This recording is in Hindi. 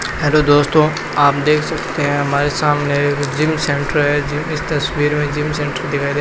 हेलो दोस्तों आप देख सकते हैं हमारे सामने एक जिम सेंटर है इस तस्वीर में जिम सेंटर दिखाई दे --